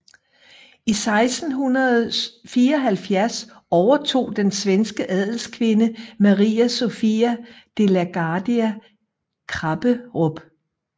I 1674 overtog den svenske adelskvinde Maria Sofia de la Gardie Krapperup